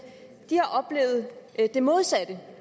har oplevet det modsatte